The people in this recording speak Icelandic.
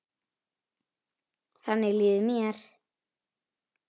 Þannig líður mér.